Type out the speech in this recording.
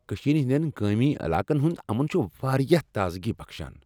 کشیر ہندین گٲمی علاقن ہند امن چھ واریاہ تازگی بخشان ۔